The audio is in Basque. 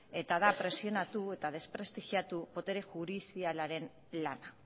eta da presionatu eta desprestigiatu botere judizialaren lana